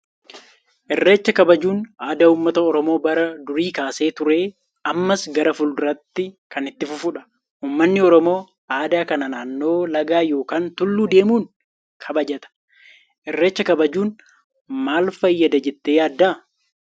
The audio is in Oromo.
Irreecha kabajuun aadaa uummata oromoo bara durii kaasee ture ammas gara fuulduraattis kan itti fufudha. Uummanni oromoo aadaa kana naannoo lagaa yookaan tulluu deemuunkabajata. Irreecha kabajuun maal fayyada jettee yaaddaa?